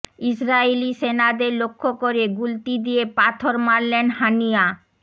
ইসরাইলি সেনাদের লক্ষ্য করে গুলতি দিয়ে পাথর মারলেন হানিয়া